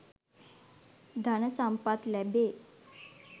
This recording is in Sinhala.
ධන සම්පත් ලැබේ.